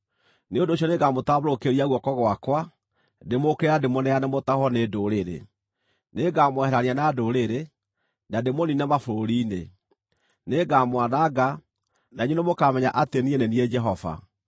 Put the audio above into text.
nĩ ũndũ ũcio nĩngamũtambũrũkĩria guoko gwakwa, ndĩmũũkĩrĩre na ndĩmũneane mũtahwo nĩ ndũrĩrĩ. Nĩngamweherania na ndũrĩrĩ, na ndĩmũniine mabũrũri-inĩ. Nĩngamwananga, na inyuĩ nĩmũkamenya atĩ niĩ nĩ niĩ Jehova.’ ”